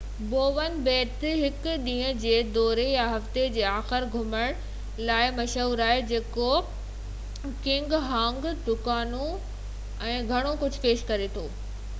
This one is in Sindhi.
بوون ٻيٽ هڪ ڏينهن جي دوري يا هفتي جي آخر ۾ گهمڻ لاءِ مشهورآهي جيڪو ڪيڪنگ هائيڪنگ دڪانون هوٽلون ۽ گهڻو ڪجهه پيش ڪري ٿو